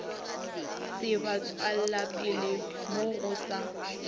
se batšwelapele mo go sa